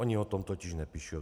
Oni o tom totiž nepíšou.